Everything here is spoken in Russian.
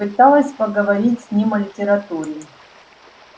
пыталась поговорить с ним о литературе